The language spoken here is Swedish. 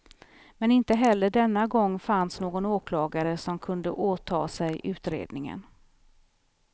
Men inte heller denna gång fanns någon åklagare som kunde åta sig utredningen.